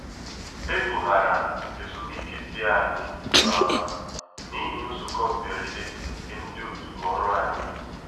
ebu ghara ezumike tii anyị um n’ihi nzukọ mberede nke ndị òtù ọrụ anyị